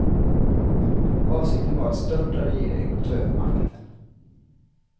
Avsikten var att störta regeringen och ta över makten.